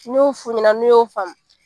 N'o n'i y'o faamu.